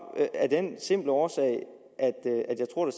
af den simple årsag at jeg tror